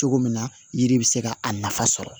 Cogo min na yiri bɛ se ka a nafa sɔrɔ